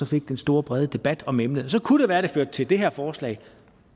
fik den store brede debat om emnet så kunne det være at det førte til det her forslag